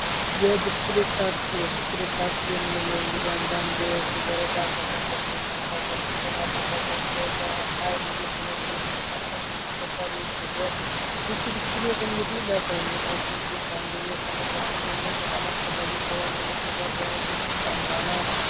ብስክሌት ታክሲ ብስክሌት ታክሲ የምንለው እንግዲህ አንዳንድ እንደ ወረዳ ከተሞች ላይ ወይም ከተሞች በሀይል እየተነዱ የሚንቀሳቀሱ ተሽከርካሪ ሲሆን ይቺ ብስክሌቲን ለሰውነታችን ጡንቻ እንዲሁም ለሰውነታችን ጤንነት በጣም አስፈላጊ ከሆኑ የመጓጓዣ ዓይነቶች አንዷ ናት።